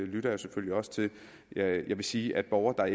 lytter jeg selvfølgelig også til jeg vil sige at borgere der